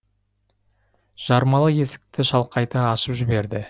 жармалы есікті шалқайта ашып жіберді